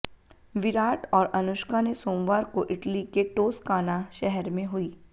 विराट और अनुष्का ने सोमवार को इटली के टोस्काना शहर में हुई